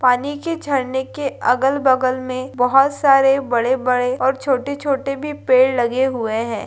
पानी के झरने के अगल-बगल में बहुत सारे बड़े-बड़े और छोटे-छोटे भी पेड़ लगे हुए हैं।